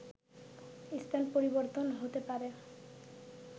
স্থান পরিবর্তন হতে পারে